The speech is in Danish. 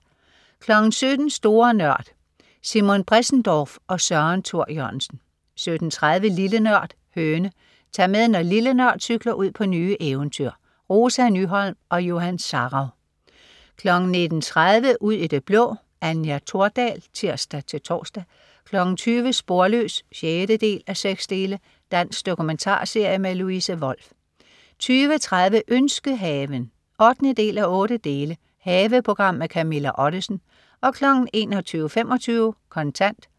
17.00 Store Nørd. Simon Bressendorf og Søren Thor Jørgensen 17.30 Lille Nørd. Høne. Tag med, når "Lille Nørd" cykler ud på nye eventyr. Rosa Nyholm og Johan Sarauw 19.30 Ud i det blå. Anja Thordal (tirs-tors) 20.00 Sporløs 6:6. Dansk dokumentarserie. Louise Wolff 20.30 Ønskehaven 8:8. Haveprogram med Camilla Ottesen 21.25 Kontant